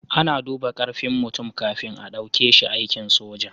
A na duba karfin mutum kafin a dauke shi aikin soja